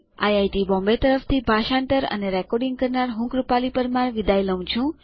IIT Bombay તરફથી ભાષાંતર કરનાર હું કૃપાલી પરમાર વિદાય લઉં છું